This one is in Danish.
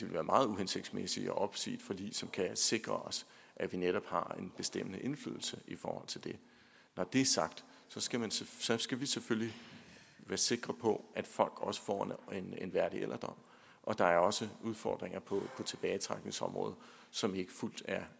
være meget uhensigtsmæssigt at opsige et forlig som kan sikre os at vi netop har en bestemmende indflydelse i forhold til det når det er sagt skal vi selvfølgelig være sikre på at folk også får en værdig alderdom og der er også udfordringer på tilbagetrækningsområdet som ikke